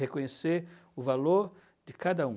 Reconhecer o valor de cada um.